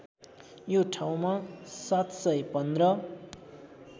यो ठाउँमा ७१५